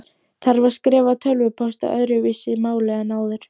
Þarf að skrifa tölvupóst á öðruvísi máli en áður?